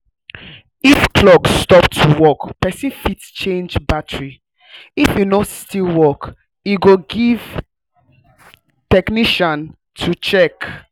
if clock stop to work person fit change battary if e no still work e go give technician to check